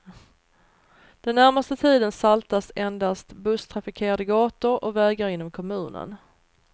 Den närmaste tiden saltas endast busstrafikerade gator och vägar inom kommunen.